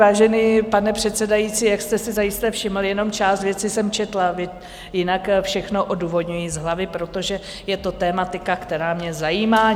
Vážený pane předsedající, jak jste si zajisté všiml, jenom část věcí jsem četla, jinak všechno odůvodňuji z hlavy, protože je to tematika, která mě zajímá.